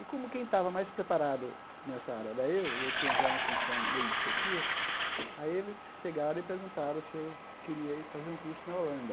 E como quem estava mais preparado nessa área era eu, e eu tenho já uma função meio de chefia, aí eles chegaram e perguntaram se eu queria ir fazer um curso na Holanda.